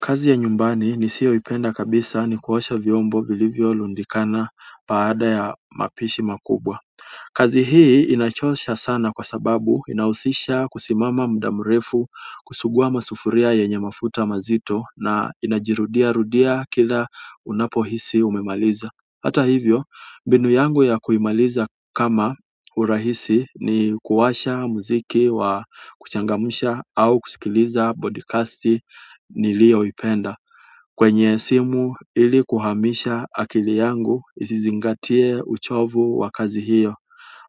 Kazi ya nyumbani nisiyoipenda kabisa ni kuosha vyombo vilivyorundikana baada ya mapishi makubwa kazi hii inachosha sana kwa sababu inahusisha kusimama muda mrefu kusugua masufuria yenye mafuta mazito na inajirudia rudia kila unapohisi umemaliza hata hivyo mbinu yangu ya kuimaliza kama urahisi ni kuwasha mziki wa kuchangamsha au kusikiliza podikasti niliyoipenda kwenye simu ili kuhamisha akili yangu isizingatie uchovu wa kazi hiyo